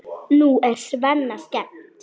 Nú er Svenna skemmt.